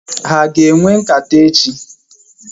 Ha aga enwe nkata echi?